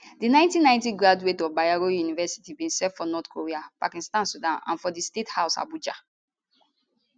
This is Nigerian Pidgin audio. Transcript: di 1990 graduate of bayero university kano bin serve for north korea pakistan sudan and for di state house abuja